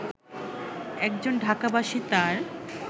একজন ঢাকাবাসী তার